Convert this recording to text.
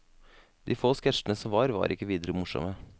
De få sketsjene som var, var ikke videre morsomme.